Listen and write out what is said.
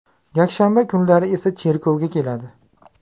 Yakshanba kunlari esa cherkovga keladi.